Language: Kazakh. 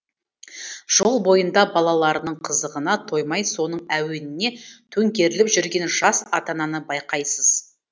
жол бойында балаларының қызығына тоймай соның әуеніне төңкеріліп жүрген жас ата ананы байқайсыз